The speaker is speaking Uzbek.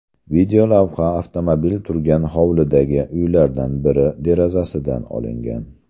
Videolavha avtomobil turgan hovlidagi uylardan biri derazasidan olingan.